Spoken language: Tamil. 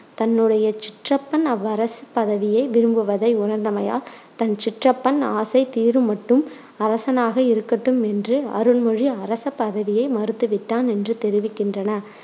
தன்னுடைய சிற்றப்பன் அவ்வரச பதவியை விரும்புவதை உணர்ந்தமையால் தன் சிற்றப்பன் ஆசை தீருமட்டும் அரசனாக இருக்கட்டும் என்று அருண்மொழி அரசபதவியை மறுத்துவிட்டான் என்று தெரிவிக்கின்றன.